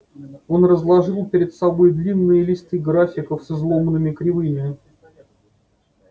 он разложил перед собой длинные листы графиков с изломанными кривыми